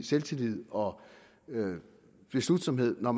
selvtillid og beslutsomhed når